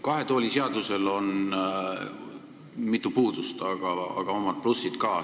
Kahe tooli seadusel on mitu puudust, aga omad plussid ka.